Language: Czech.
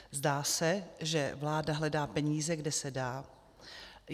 Zdá se, že vláda hledá peníze, kde se dá.